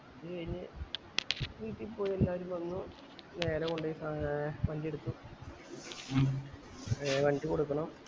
അത് കൈഞ്ഞ് വീട്ടിപോയി എല്ലാരും വന്നു നേരെ കൊണ്ടോയി ആഹ് വണ്ടി എടുത്ത് ഏർ വണ്ടി കൊടുക്കണം